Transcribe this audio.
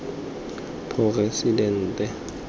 poresidente